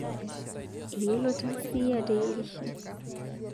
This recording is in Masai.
Eyeolo tasii ateyirisho